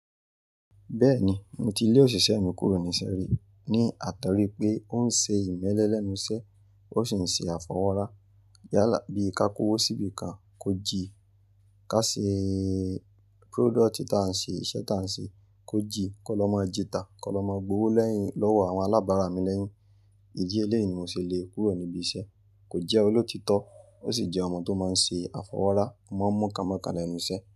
Bẹ́ẹ̀ni, mo ti lé òṣìṣẹ́ mi kúrò níṣe rí ní àtọ̀rí pé ó ń ṣe ìmẹ́lẹ́ lẹ́nu iṣẹ́, ó sì ń ṣe àfọwọ́ra. Yálà bí i ká kówó síbi kan, kó jí. Ká ṣe product ta ń ṣe iṣẹ́ ta ń ṣe, kó jí. Kọ́ lọ́ máa jita, kọ́ lọ́ máa gbówó lẹ́yìn lọ́wọ́ àwọn alábàárà mi lẹ́yìn. Idi eléyìí ni mò ṣe le kúrò níbi iṣẹ́. Kò jẹ́ olótítọ́ ó sì jẹ́ ọmọ tó máa ń ṣe àfọwọ́ra, ọmọ n mú kánmokan lẹ́nu iṣẹ́.